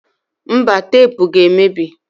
Mba, tepu ga emebi